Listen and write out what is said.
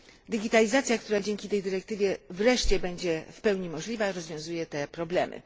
Digitalizacja, która dzięki tej dyrektywie wreszcie będzie w pełni możliwa, rozwiązuje te problemy.